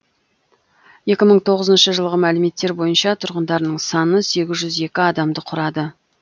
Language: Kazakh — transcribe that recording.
екі мың тоғызыншы жылғы мәліметтер бойынша тұрғындарының саны сегіз жүз екі адамды құрады